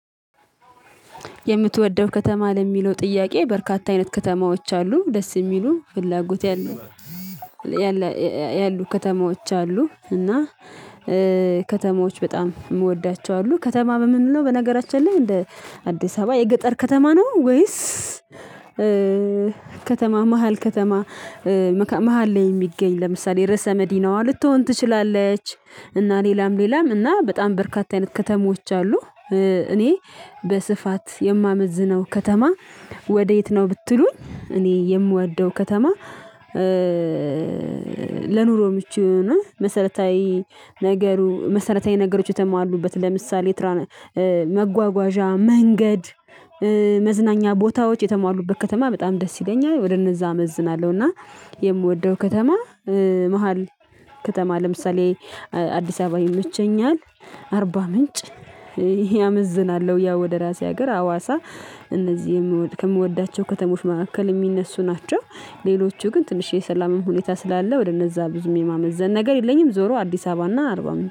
የምትወደው ከተማ ለሚለው ጥያቄ በርካታ አይነት ከተማዎች አሉ። ደስ የሚሉ ፍላጎት ያሉ ከተማዎች አሉ እና ከተማዎች በጣም የምወዳቸው አሉ። ከተማ የምንለው በነገራችን ላይ እንደ አዲስ አበባ የገጠር ከተማ ነው ወይስ ከተማ መሃል ከተማ መሃል ላይ የሚገኝ? ለምሳሌ ርዕሰ መዲናዋ ልትሆን ትችላለች እና ሌላም ሌላም እና በጣም በርካታ አይነት ከተሞች አሉ። እኔ በስፋት የማመዝነው ከተማ ወዴት ነው ብትሉኝ እኔ የምወደው ከተማ ለኑሮ ምቹ የሆነ መሰረታዊ ነገሩ መሰረታዊ ነገሮች የተሟሉበት ለምሳሌ መጓጓዣ መንገድ መዝናኛ ቦታዎች የተሟሉበት ከተማ በጣም ደስ ይለኛል ወደ እነዛ አመዝናለሁ እና የምወደው ከተማ መሃል ከተማ ለምሳሌ አዲስ አበባ ይመቸኛል፤ አርባ ምንጭ አመዝናለሁ ያው ወደ ራሴ ሀገር አዋሳ እነዚህ ከምወዳቸው ከተሞች መካከል የሚነሱ ናቸው። ሌሎቹ ግን ትንሽ የሰላም ሁኔታ ስላለ ወደ እነዛ ብዙም የማመዘን ነገር የለኝም። ዞሮ አዲስ አበባና አርባ ምንጭ